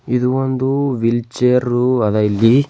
ಇದು ಒಂದು wheelchair ಅದೆ ಇಲ್ಲಿ.